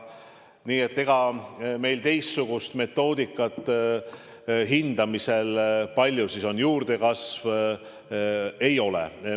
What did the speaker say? Nii et ega meil teistsugust metoodikat selle hindamisel, kui palju on juurdekasvu, ei ole.